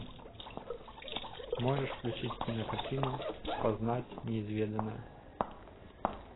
можешь включить кинокартину познать неизведанное